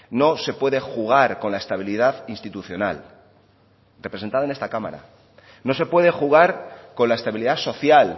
no se puede jugar con la estabilidad institucional representada en esta cámara no se puede jugar con la estabilidad social